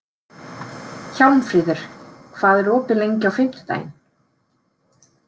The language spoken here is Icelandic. Hjálmfríður, hvað er opið lengi á fimmtudaginn?